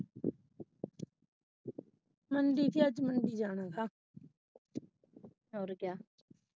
ਹਮ ਵੀ ਕਿਆ ਆਜ ਮੰਡੀ ਜਾਣਾ ਥਾ ਔਰ ਕਿਆ।